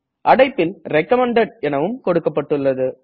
அடைப்பில் recommended எனவும் கொடுக்கப்பட்டுள்ளது